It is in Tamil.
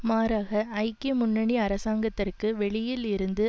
மாறாக ஐக்கிய முன்னணி அரசாங்கத்திற்கு வெளியில் இருந்து